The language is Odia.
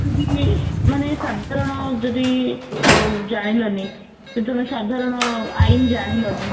ମାନେ ସାଧାରଣ ଯଦି ଓ ଜାଣିଲାଣି ସେଜଣେ ସଧାରଣ ଆଇନ ଜାଣିଲାଣି